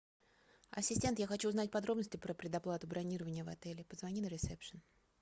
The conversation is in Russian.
ассистент я хочу узнать подробности про предоплату бронирования в отеле позвони на ресепшн